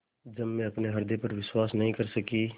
जब मैं अपने हृदय पर विश्वास नहीं कर सकी